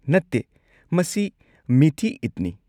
ꯅꯠꯇꯦ! ꯃꯁꯤ ꯃꯤꯊꯤ ꯏꯗꯅꯤ꯫